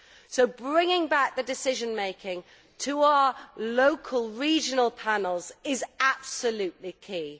So bringing back the decision making to our local regional panels is absolutely key.